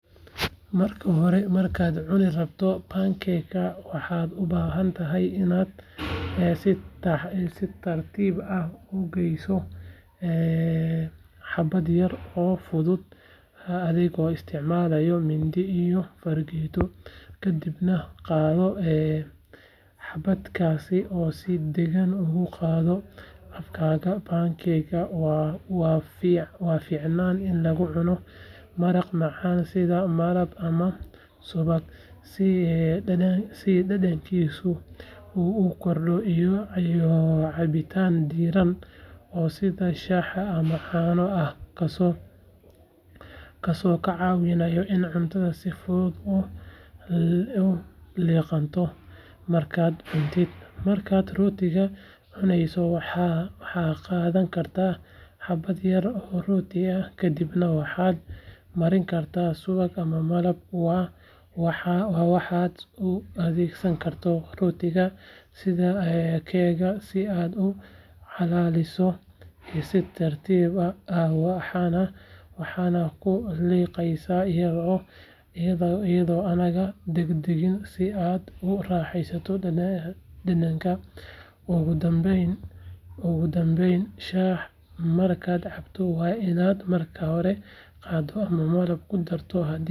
Marka hore markad cunirabto pancake waxa ubahatahay inad si tartib ah ugeyso habad yar oo fudud adhigo isticmalayo mindi iyo fargeto kadibna qadoo habadkasi si dagan ogugadi afkada pancake wa ficanan in lagucuno maraq macan sidha malab ama si dadankisu u ukordo iyo cabitaan diraan sidhi kas oo kacawinayo in cuntada si fudud uu liqanto, marka aad cuntid marka rootiga cunaysi waxaa qadhankarta habad yar kadibna waxa marin karta suwaq wa waxa uadegsankaro sidha ee cake si aad ucalaliso si tartib ah waxana kuliqaysa iyado ana dagdagin si aad uguraheysa dadanka ogudambeyn shah markad cabto wa inad marka hore ama aa malab kudarto.